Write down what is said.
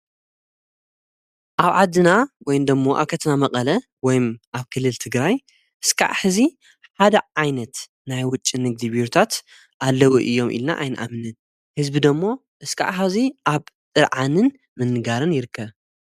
ኣብ ዓድና ወይ ንደሞ ኣኸትና መቐለ ወይም ኣብ ክልል ትግራይ እስከዕ ሕዚ ሓደ ዓይነት ናይ ውጭን ንግዲብሩታት ኣለዉ እዮም ኢልና ኣይንኣምንን ሕዝቢ ደሞ እሥካዕ ሕዚይ ኣብ ጥርዓንን ምንጋርን ይርከብ።